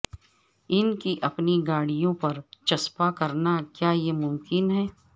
ان کی اپنی گاڑیوں پر چسپاں کرنا کیا یہ ممکن ہے